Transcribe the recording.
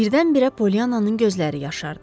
Birdən-birə Polyannanın gözləri yaşardı.